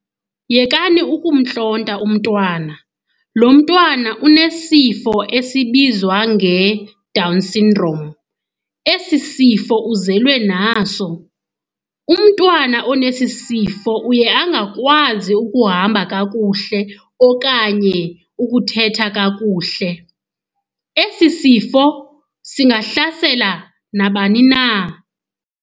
Yekani ukumntlonta umntwana. Lo mntwana unesifo esibizwa ngeDown syndrome, esi sifo uzelwe naso. Umntwana onesi sifo uye angakwazi ukuhamba kakuhle okanye ukuthetha kakuhle. Esi sifo singahlasela nabani na.